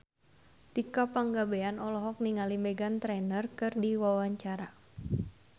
Tika Pangabean olohok ningali Meghan Trainor keur diwawancara